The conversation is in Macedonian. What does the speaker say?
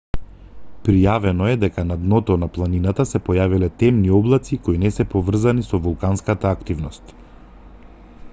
пријавено е дека на дното на планината се појавиле темни облаци кои не се поврзани со вулканска активност